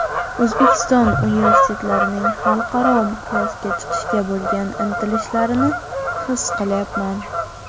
O‘zbekiston universitetlarining xalqaro miqyosga chiqishga bo‘lgan intilishlarini his qilyapman.